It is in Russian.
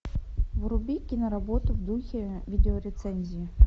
вруби киноработу в духе видеорецензии